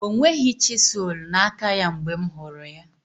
O nweghị chiselu na aka ya mgbe m hụrụ ya